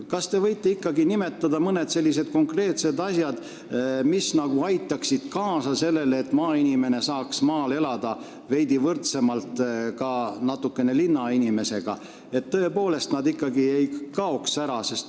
Kas te võiksite ikkagi nimetada mõned konkreetsed asjad, mis aitaksid kaasa sellele, et inimesed saaks maal elada veidi võrdsemalt linnainimestega, et nad tõepoolest ära ei kaoks?